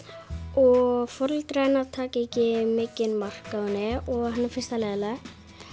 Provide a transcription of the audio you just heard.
og foreldrar hennar taka ekki mikið mark á henni og henni finnst það leiðinlegt